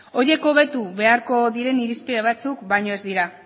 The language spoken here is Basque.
horiek hobetu beharko diren irizpide batzuk baino ez dira